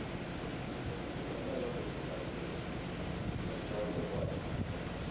হ্যাঁ দুই নম্বর আবার প্রচুর দাম original পাওয়া যাই না এখন আর